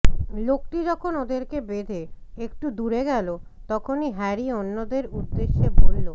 লোকটি যখন ওদেরকে বেধে একটু দূরে গেল তখনই হ্যারি অন্যদের উদ্দেশে বলল